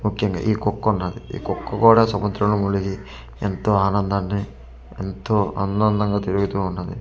ముఖ్యంగా ఈ కుక్క ఉన్నది ఈ కుక్క కూడా సముద్రం లో మునిగి ఎంతో ఆనందాన్ని ఎంతో అన్యోన్యంగా తిరుగుతు ఉన్నది కుక్క మెడలో.